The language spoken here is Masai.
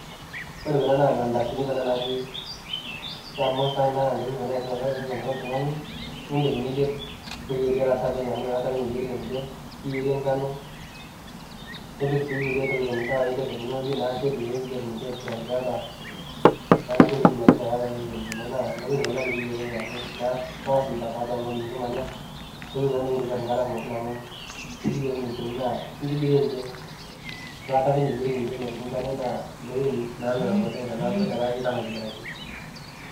Ore kuna naa mandasini naaji samosa naa ntoking kuna e tipat tiatua sesen loltung'ani niidim niyerie eilata niyerie nkano nipik sii kulie tokiti'ng nidol ake technology neeku intokiting e tipat tiatua sesen lino ntoking kuna nekintobir enkata pooki ekiyiolo eneikoni ipik eilata nemepiku nkare naa ntokiting namelok teneeku itaama aitobiraki.